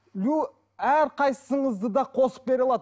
әрқайсыңызды да қосып бере аламын